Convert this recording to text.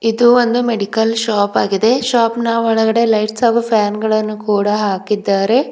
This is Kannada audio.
ಇದು ಒಂದು ಮೆಡಿಕಲ್ ಶಾಪ್ ಆಗಿದೆ ಶಾಪ್ ನ ಒಳಗಡೆ ಲೈಟ್ಸ್ ಹಾಗು ಫ್ಯಾನ್ ಗಳನ್ನು ಕೂಡ ಹಾಕಿದ್ದಾರೆ.